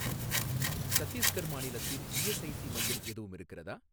சத்தீஸ்கர் மாநிலத்தில் இஎஸ்ஐஸி மையம் எதுவும் இருக்கிறதா?